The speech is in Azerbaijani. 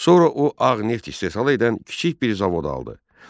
Sonra o ağ neft istehsal edən kiçik bir zavod aldı.